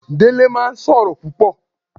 Dele máa ń sọ̀rọ̀ púpò